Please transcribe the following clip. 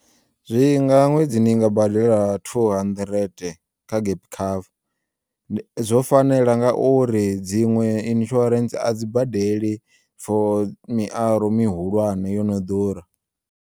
Zwinga ṅwedzi ni ngabadela two hundred kha gap cover, zwo fanela ngauri dziṅwe insurance a dzi badeli fo miaro mihulwane yono ḓura.